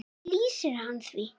Hvernig lýsir hann því?